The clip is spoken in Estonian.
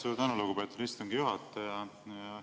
Suur tänu, lugupeetud istungi juhataja!